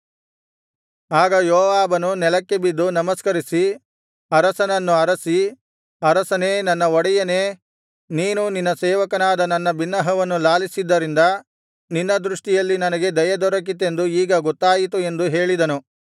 ಆಗ ಯೋವಾಬನು ನೆಲಕ್ಕೆ ಬಿದ್ದು ನಮಸ್ಕರಿಸಿ ಅರಸನನ್ನು ಹರಸಿ ಅರಸನೇ ನನ್ನ ಒಡೆಯನೇ ನೀನು ನಿನ್ನ ಸೇವಕನಾದ ನನ್ನ ಬಿನ್ನಹವನ್ನು ಲಾಲಿಸಿದ್ದರಿಂದ ನಿನ್ನ ದೃಷ್ಟಿಯಲ್ಲಿ ನನಗೆ ದಯೆ ದೊರಕಿತೆಂದು ಈಗ ಗೊತ್ತಾಯಿತು ಎಂದು ಹೇಳಿದನು